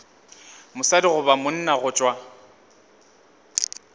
mosadi goba monna go tšwa